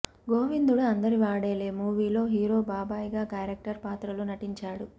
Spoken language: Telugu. గోవిందుడు అందరివాడేలే మూవీలో హీరో బాబాయ్ గా క్యారెక్టర్ పాత్రలో నటించాడు